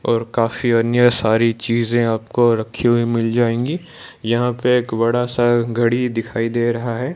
और काफी अन्य सारी चीजे आपको रखी हुई मिल जाएंगी यहां पर एक बड़ा सा घड़ी दिखाई दे रहा हैं।